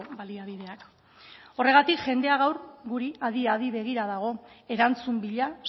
baliabideak horregatik jendea gaur guri adi adi begira dago erantzun bila